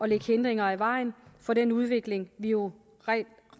lægge hindringer i vejen for den udvikling vi jo rent